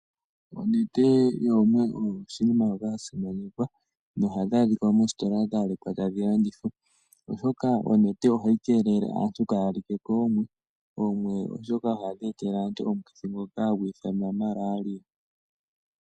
Onete yoomwe oyo oshinima sha simanekwa nohadhi adhika moositola dha lekwa tadhi landithwa, oshoka onete oha yi keelele aantu ka ya like koomwe , oomwe oshoka dhi etele aantu omukithi ngoka ha gu ithanwa malaria.